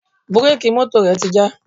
Búréèkì mọ́tò rẹ̀ ti já.